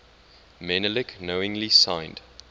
menelik knowingly signed